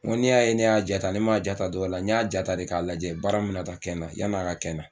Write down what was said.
N go n'i y'a ye ne y'a ja ta ne m'a ja ta dɔ wɛrɛla ne y'a ja ta de k'a lajɛ baara min be na taa kɛ n na yanni a ka kɛ n na